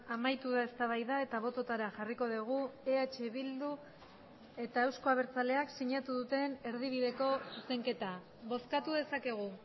amaitu da eztabaida eta bototara jarriko dugu eh bildu eta euzko abertzaleak sinatu duten erdibideko zuzenketa bozkatu dezakegu